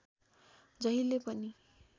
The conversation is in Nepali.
जहिल्यै पनि